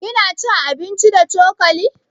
Kina cin abinci da cokali?